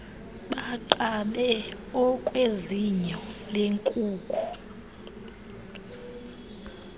banqabe okwezinyo lenkuku